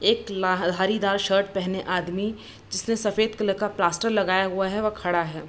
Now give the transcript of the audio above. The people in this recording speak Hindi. एक लाह ल हरिदार शर्ट पहने आदमी जिसने सफ़ेद कलर का प्लास्टर लगाया हुवा है वह खड़ा है।